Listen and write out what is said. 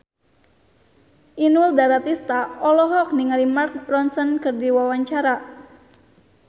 Inul Daratista olohok ningali Mark Ronson keur diwawancara